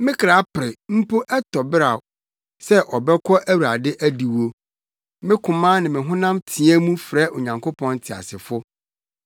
Me kra pere, mpo ɛtɔ beraw, sɛ ɔbɛkɔ Awurade adiwo; me koma ne me honam teɛ mu frɛ Onyankopɔn teasefo.